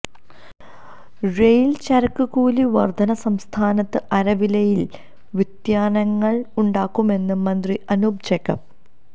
rail ചരക്ക് കൂലി വര്ധന സംസ്ഥാനത്ത് അരിവിലയില് വ്യതിയാനങ്ങള് ഉണ്ടാക്കുമെന്ന് മന്ത്രി അനൂപ് ജേക്കബ്